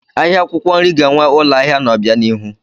Ahịa akwụkwọ nri ga-enwe ụlọ ahịa n'obianihu.